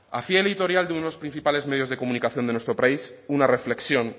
hacía el editorial de unos principales medios de comunicación de nuestro país una reflexión